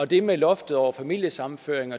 det med loftet over familiesammenføringer